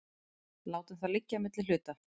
látum það liggja á milli hluta